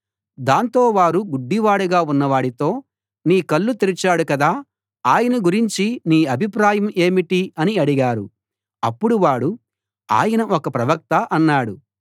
దాంతో వారు గుడ్డివాడుగా ఉన్నవాడితో నీ కళ్ళు తెరిచాడు కదా ఆయన గురించి నీ అభిప్రాయం ఏమిటి అని అడిగారు అప్పుడు వాడు ఆయన ఒక ప్రవక్త అన్నాడు